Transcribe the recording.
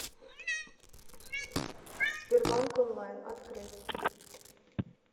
сбербанк онлайн открыть